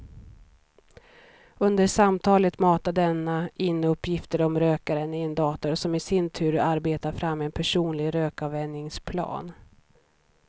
Under samtalet matar denna in uppgifter om rökaren i en dator som i sin tur arbetar fram en personlig rökavvänjningsplan.